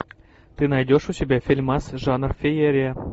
ты найдешь у себя фильмас жанр феерия